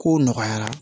Kow nɔgɔyara